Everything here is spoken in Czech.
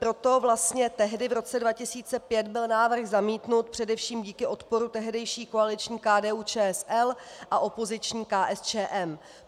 Proto vlastně tehdy v roce 2005 byl návrh zamítnut, především díky odporu tehdejší koaliční KDU-ČSL a opoziční KSČM.